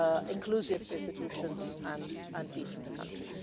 strong inclusive institutions and peace in the country.